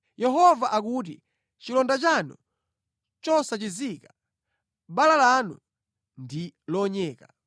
Yehova akuti, “Chilonda chanu nʼchosachizika, bala lanu ndi lonyeka.